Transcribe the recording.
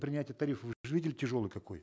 принятия тарифов вы же видели тяжелый какой